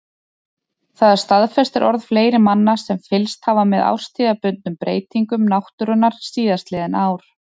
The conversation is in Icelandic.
Það staðfestir orð fleiri manna sem fylgst hafa með árstíðabundnum breytingum náttúrunnar síðastliðin ár.